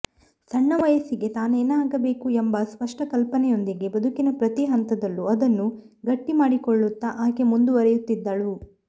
ಸಣ್ಣ ವಯಸ್ಸಿಗೇ ತಾನೇನಾಗಬೇಕು ಎಂಬ ಸ್ಪಷ್ಟ ಕಲ್ಪನೆಯೊಂದಿಗೆ ಬದುಕಿನ ಪ್ರತಿ ಹಂತದಲ್ಲೂ ಅದನ್ನು ಗಟ್ಟಿಮಾಡಿಕೊಳ್ಳುತ್ತಾ ಆಕೆ ಮುಂದವರಿಯುತ್ತಿದ್ದಳು